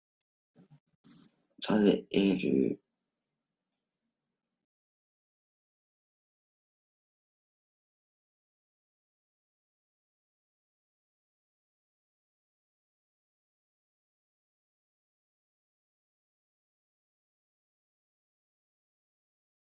Hver maður orðinn gangandi safn til sögu sjálfs sín.